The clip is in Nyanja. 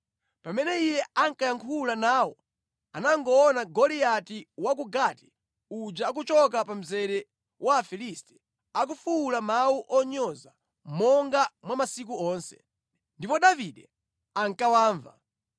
Pamene iye ankayankhula nawo anangoona Goliati wa ku Gati uja akuchoka pa mzere wa Afilisti akufuwula mawu onyoza monga mwa masiku onse, ndipo Davide ankawamva.